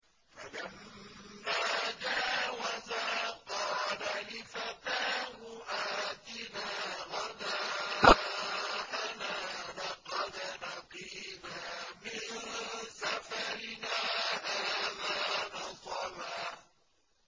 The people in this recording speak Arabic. فَلَمَّا جَاوَزَا قَالَ لِفَتَاهُ آتِنَا غَدَاءَنَا لَقَدْ لَقِينَا مِن سَفَرِنَا هَٰذَا نَصَبًا